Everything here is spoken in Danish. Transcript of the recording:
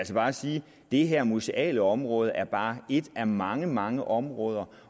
så bare sige at det her museale område bare er et af mange mange områder